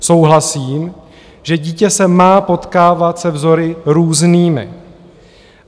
Souhlasím, že dítě se má potkávat se vzory různými.